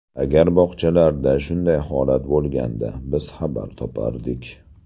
Agar bog‘chalarda shunday holat bo‘lganda, biz xabar topardik.